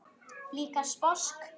Líka sposk.